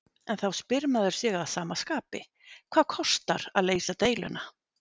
En þá spyr maður sig að sama skapi, hvað kostar að leysa deiluna?